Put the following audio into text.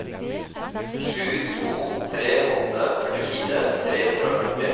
sju to tre åtte førtifire tre hundre og førti